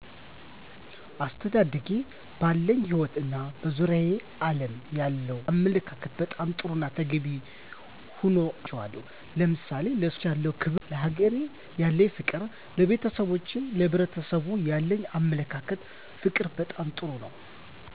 አስተዳደጌ ባለኝ ህይወት እና በዙሪያው ዓለም ያለኝ አመለካከት በጣም ጥሩና ተገቢ ሆኖ አግኝቸዋለሁ። ለምሳሌ፦ ለሰዎች ያለኝ ክብር፣ ለሀገሬ ያለኝ ፍቅር፣ ለቤተሰቦቼና ለሕብረሰቡ ያለኝ አመለካከትና ፍቅር በጣም ጥሩ ነው።